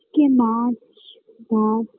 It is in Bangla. কে মাছ ভাত